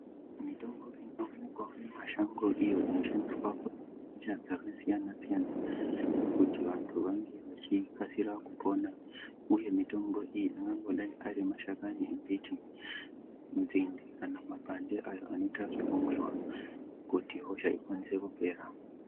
Mitombo inoonekwa wo mumashango iyo inoshandiswa nenjira dzakasiyanasiyana kuti vanhu vange vachikasira kupona uye mitombo iyi angangodai ari mashakani emiti nzinde kana mapande anoitwa zvekumwiwa kuti hosha ikwanise kupera.